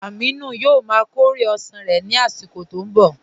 Amìnù yóò má kọ̀rẹ̀ osán rẹ̀ nì àsìkò tó n bọ